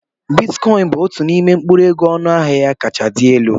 Bitikọin bụ otu n'ime mkpụrụ ego ọnụ ahịa ya kachasị dị elu.